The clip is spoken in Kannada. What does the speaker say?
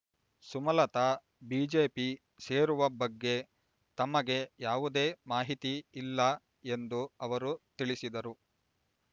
ಸುಮಲತ ಬಿಜೆಪಿ ಸೇರುವ ಬಗ್ಗೆ ತಮಗೆ ಯಾವುದೇ ಮಾಹಿತಿ ಇಲ್ಲ ಎಂದು ಅವರು ತಿಳಿಸಿದರು